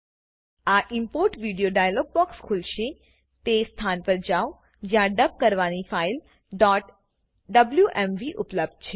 આ import video dialog box ખોલશેતે સ્થાન પર જાવ જ્યાં ડબ કરવાની ફાઈલ wmv ઉપલબ્ધ છે